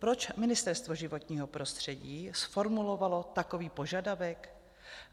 Proč Ministerstvo životního prostředí zformulovalo takový požadavek?